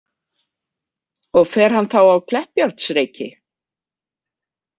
Og fer hann þá á Kleppjárnsreyki?